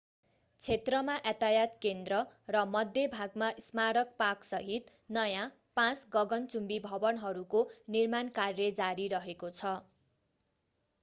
क्षेत्रमा यातायात केन्द्र र मध्य भागमा स्मारक पार्कसहित नयाँ पाँच गगनचुम्बी भवनहरूको निर्माण कार्य जारी रहेको छ